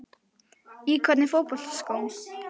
Í hvernig fótboltaskóm?